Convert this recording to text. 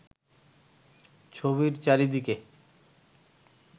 ছবির চারিদিকে